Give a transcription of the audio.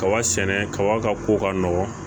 Kaba sɛnɛ kaba ka ko ka nɔgɔ